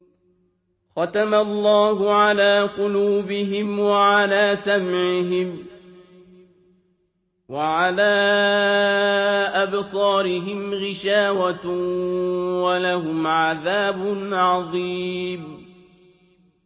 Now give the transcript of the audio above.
خَتَمَ اللَّهُ عَلَىٰ قُلُوبِهِمْ وَعَلَىٰ سَمْعِهِمْ ۖ وَعَلَىٰ أَبْصَارِهِمْ غِشَاوَةٌ ۖ وَلَهُمْ عَذَابٌ عَظِيمٌ